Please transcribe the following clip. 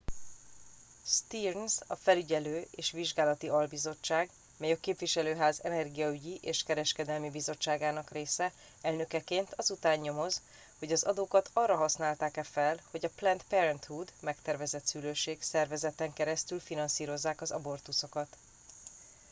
stearns a felügyelő és vizsgálati albizottság - mely a képviselőház energiaügyi és kereskedelmi bizottságának része - elnökeként az után nyomoz hogy az adókat arra használták-e fel hogy a planned parenthood megtervezett szülőség szervezeten keresztül finanszírozzák az abortuszokat